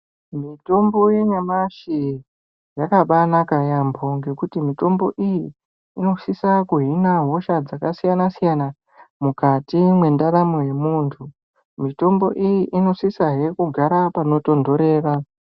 Mitombo yenyamashi yakabanaka yaambo ngekuti mitombo iyi inosisa kuhina hosha dzakasiyana-siyana mukati mwendaramo yemuntu. Mitombo iyi inosisasehe kugara panotondorera.